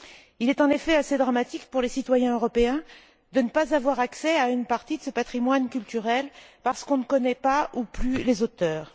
Il est, en effet, assez dramatique que les citoyens européens n'aient pas accès à une partie de ce patrimoine culturel parce qu'on ne connaît pas ou plus les auteurs.